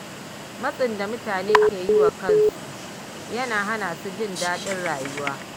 Matsin da mutane ke yi wa kansu yana hana su jin daɗin rayuwa.